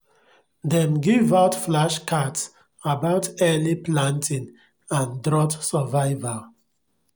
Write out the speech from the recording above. dem give out flashcards about early planting and drought survival